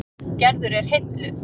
Gerður er heilluð.